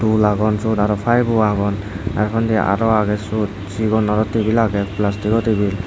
roll agon syot aro paibo agon ar undi aro agey syot sigon aro tebil agey plastigo tebil .